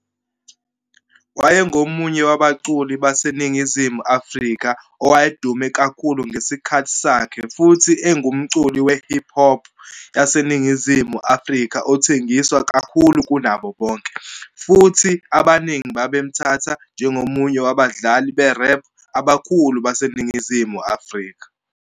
Wayengomunye wabaculi baseNingizimu Afrika owayedume kakhulu ngesikhathi sakhe futhi engumculi we-hip hop waseNingizimu Afrika othengiswa kakhulu kunabo bonke, futhi abaningi babemthatha njengomunye wabadlali be-rap abakhulu baseNingizimu Afrika.